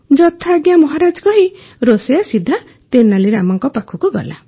ଯଥାଜ୍ଞା ମହାରାଜ କହି ରୋଷେଇୟା ସିଧା ତେନାଲୀ ରାମା ପାଖକୁ ଗଲା